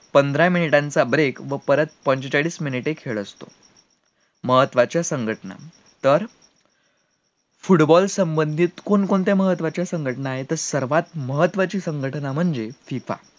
पंधरा मिनिटाचा break व परत पंचेचाळीस मिनिटाचा खेळ असतो, महत्वाच्या संघटना तर, football संबंधित कोणकोणत्या महत्वाच्या संघटना आहेत तर सर्वात महत्वाची संघटना म्हणजे FIFA